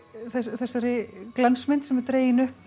þessari glansmynd sem er dregin upp